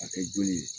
A kɛ joli ye